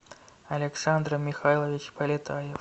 александр михайлович полетаев